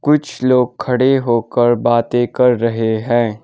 कुछ लोग खड़े होकर बाते कर रहे हैं।